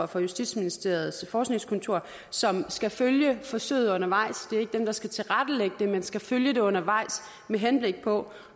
fra justitsministeriets forskningskontor som skal følge forsøget undervejs det er ikke dem der skal tilrettelægge det men de skal følge det undervejs med henblik på